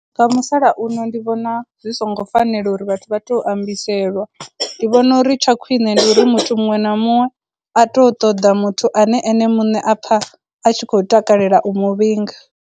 Nga musalauno ndi vhona zwi songo fanela uri vhathu vha tou ambiselwa, ndi vhona uri tsha khwine ndi uri muthu muṅwe na muṅwe a tou ṱoḓa muthu ane ene muṋe a pfha a tshi khou takalela u mu vhinga.